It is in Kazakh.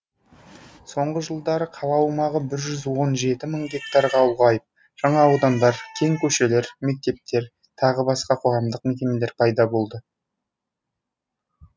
соңғы жылдары қала аумағы бір жүз он жеті мың гектарға ұлғайып жаңа аудандар кең көшелер мектептер тағы басқа қоғамдық мекемелер пайда болды